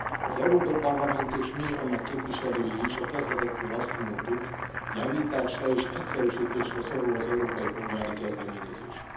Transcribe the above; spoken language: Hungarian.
Az Európai Parlament és mi, annak képviselői is, a kezdetektől azt mondtuk, javításra és egyszerűsítésre szorul az európai polgári kezdeményezés.